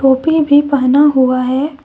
टोपी भी पहना हुआ है।